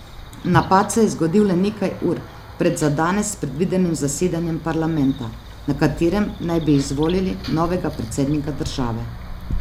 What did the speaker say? Napad se je zgodil le nekaj ur pred za danes predvidenim zasedanjem parlamenta, na katerem naj bi izvolili novega predsednika države.